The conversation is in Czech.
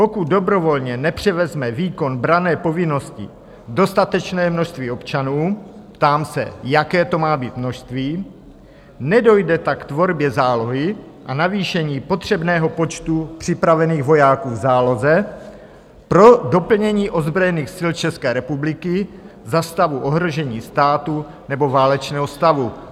"Pokud dobrovolně nepřevezme výkon branné povinnosti dostatečné množství občanů" - ptám se, jaké to má být množství? - "nedojde tak k tvorbě zálohy a navýšení potřebného počtu připravených vojáků v záloze pro doplnění ozbrojených sil České republiky za stavu ohrožení státu nebo válečného stavu."